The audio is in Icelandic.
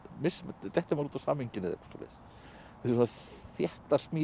detti maður út úr samhenginu þetta eru þéttar smíðar